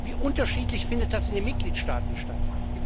Wie unterschiedlich findet das in den Mitgliedstaaten statt?